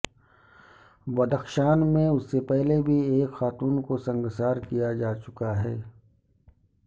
بدخشان میں اس سے پہلے بھی ایک خاتون کو سنگسار کیا جا چکا ہے